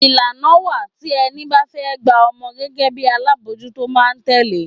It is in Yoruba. Ìlànà wá tí ẹni bá fẹ́ gba ọmọ gẹ́gẹ́ bí alábòójútó máa tẹle.